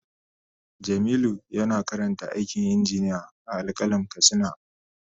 Jamilu yana karanta aikin injiniya a Al-qalam katsina.